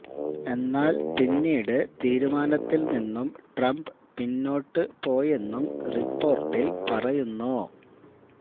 എന്നാല് പിന്നീട് തീരുമാനത്തില് നിന്നും ട്രംപ് പിന്നോട്ട് പോയെന്നും റിപ്പോര്ട്ടില് പറയുന്നു